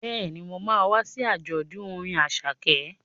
Bẹ́ẹ̀ni, mo ma wá sí àjọ̀dún orin Àṣàkẹ́